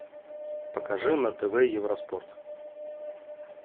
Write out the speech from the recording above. покажи на тв евроспорт